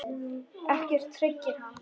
Ekkert hryggir hann.